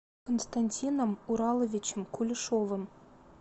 константином ураловичем кулешовым